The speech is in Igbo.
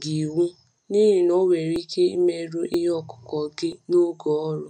gị iwu, n’ihi na ọ nwere ike imerụ ihe ọkụkụ gị n’oge ọrụ.